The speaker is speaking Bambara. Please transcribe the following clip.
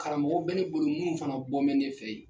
Karamɔgɔw bɛ ne bolo munun fana bɔ bɛ ne fɛ yen.